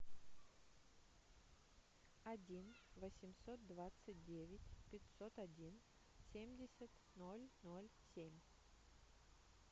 один восемьсот двадцать девять пятьсот один семьдесят ноль ноль семь